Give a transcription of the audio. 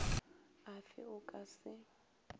a fe o ka se